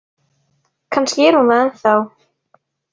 Kannski er hún það ennþá.